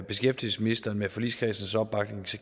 beskæftigelsesministeren med forligskredsens opbakning